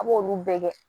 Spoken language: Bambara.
A b'olu bɛɛ kɛ